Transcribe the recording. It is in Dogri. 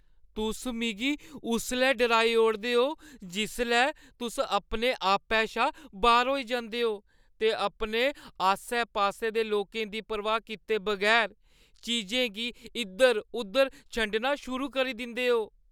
तुस मिगी उसलै डराई ओड़दे ओ जिसलै तुस अपना आपै शा बाह्‌र होई जंदे ओ ते अपने आस्सै-पास्सै दे लोकें दी परवाह् कीते बगैर चीजें गी इद्धर-उद्धर छंडना शुरू करी दिंदे ओ।